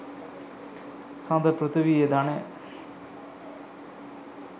සඳ පෘථීවියේ ධනය